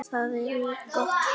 Þau eru gott fólk.